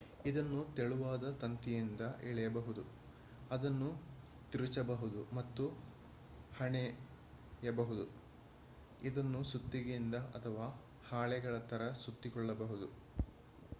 ಇದನ್ನು ತೆಳುವಾದ ತಂತಿಯಿಂದ ಎಳೆಯಬಹುದು ಅದನ್ನು ತಿರುಚಬಹುದು ಮತ್ತು ಹೆಣೆಯಬಹುದು ಇದನ್ನು ಸುತ್ತಿಗೆಯಿಂದ ಅಥವಾ ಹಾಳೆಗಳ ತರ ಸುತ್ತಿಕೊಳ್ಳಬಹುದು